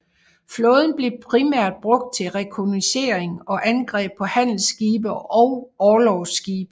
Flåden blev primært brugt til rekognoscering og angreb på handelsskibe og orlogsskibe